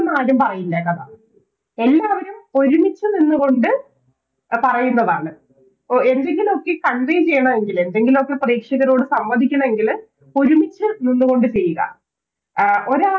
നിന്നാരും പറയില്ല കഥ എല്ലാവരും ഒരുമിച്ച് നിന്നുകൊണ്ട് എ പറയേണ്ടതാണ് എന്തെങ്കിലൊക്കെ Convey ചെയ്യണമെങ്കില് എന്തെങ്കിലുമൊക്കെ പ്രേക്ഷകരോട് സമ്മതിക്കണമെങ്കില് ഒരുമിച്ച് നിന്നുകൊണ്ട് ചെയ്യുക ആ ഒരാൾ